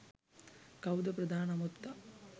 කව්ද ප්‍රධාන අමුත්තා?